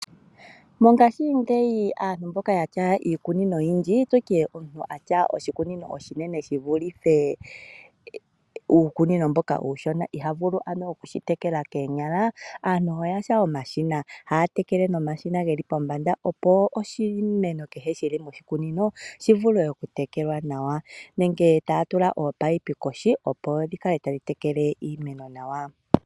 Mongashingeyi aantu mboka yena iikunino oyindji, nenge omuntu e na oshikunino oshinene shi vulithe uukunino mboka uushona, iha vulu ano okushitekela koonyala, onkene ano oyena omashina. Haya tekele nomashina okuza pombanda opo oshimeno kehe shili moshikunino shi vule okutekelwa nawa, nenge wo taya tula ominino kohi opo dhikale tadhi tekele iimeno nawa.